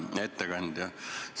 Hea ettekandja!